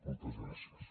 moltes gràcies